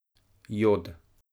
Jod.